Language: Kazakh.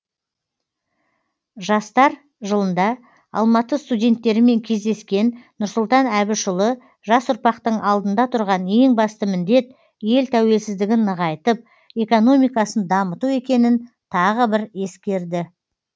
жастар жылында алматы студенттерімен кездескен нұрсұлтан әбішұлы жас ұрпақтың алдында тұрған ең басты міндет ел тәуелсіздігін нығайтып экономикасын дамыту екенін тағы бір ескерді